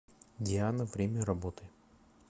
диана время работы